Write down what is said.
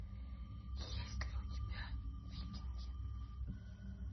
есть ли у тебя викинги